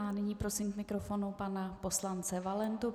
A nyní prosím k mikrofonu pana poslance Valentu.